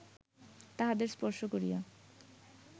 তাহাদের স্পর্শ করিয়া